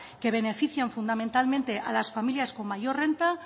que beneficia fundamentalmente a las familias con mayor renta